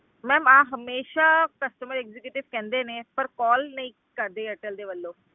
Ma'am ਆਹ ਹਮੇਸ਼ਾ customer executive ਕਹਿੰਦੇ ਨੇ ਪਰ call ਨਹੀਂ ਕਰਦੇ ਏਅਰਟਲ ਦੇ ਵੱਲੋਂ।